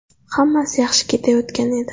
Hammasi yaxshi ketayotgan edi.